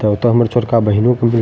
तब ते हमर छोटका बहिनों --